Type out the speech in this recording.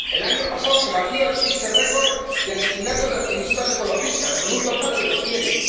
El año pasado se batió el triste récord de asesinatos de activistas ecologistas, con un total de doscientos.